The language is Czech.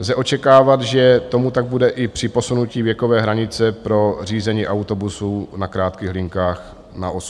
Lze očekávat, že tomu tak bude i při posunutí věkové hranice pro řízení autobusů na krátkých linkách na 18 let.